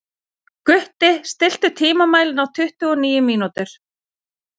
Gutti, stilltu tímamælinn á tuttugu og níu mínútur.